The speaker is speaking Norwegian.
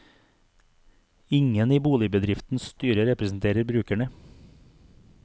Ingen i boligbedriftens styre representerer brukerne.